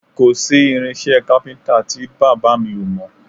Kò sí irinṣẹ́ kápíntà tí bàbá mi ò mọ̀